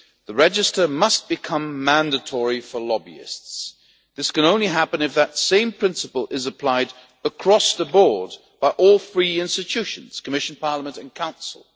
The register must become mandatory for lobbyists. This can only happen if that same principle is applied across the board in all three institutions the Commission, Parliament and the Council.